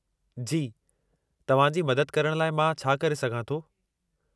जी, तव्हां जी मदद करण लाइ मां छा करे सघां थो?